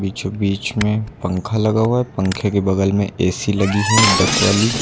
बीचों बीच में पंख लगा हुआ है पंखे के बगल में ए_सी लगी है डक वाली।